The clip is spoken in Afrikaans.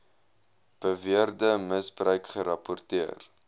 beweerde misbruik gerapporteer